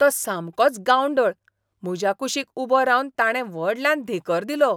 तो सामकोच गांवढळ. म्हज्या कुशीक उबो रावन ताणें व्हडल्यान धेंकर दिलो.